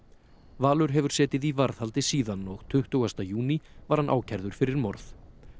Valur hefur setið í varðhaldi síðan og tuttugasta júní var hann ákærður fyrir morð